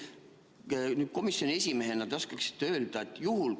Kas te komisjoni esimehena oskate sellist asja öelda?